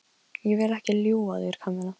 Ég vil ekki ljúga að þér, Kamilla.